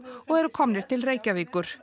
og eru komnir til Reykjavíkur